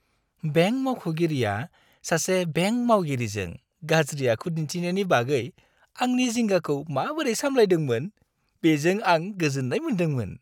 Bank मावख'गिरिया सासे bank मावगिरिजों गाज्रि आखु दिनथिनायनि बागै आंनि जिंगाखौ माबोरै सामलायदोंमोन, बेजों आं गोजोन्नाय मोन्दोंमोन।